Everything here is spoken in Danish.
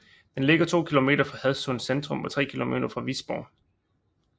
Den ligger to km fra Hadsund Centrum og tre km fra Visborg